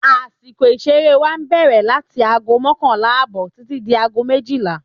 Àsìkò ìṣeré wá bẹ̀rẹ̀ láti aago mọ́kànlá ààbò títí di aago méjìlá